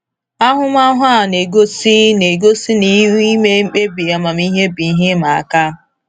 Ahụmahụ a na-egosi na-egosi na ime mkpebi amamihe bụ ihe ịma aka.